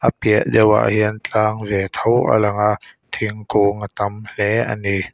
a piah deuhah hian tlang ve tho a lang a thingkung a tam hle ani.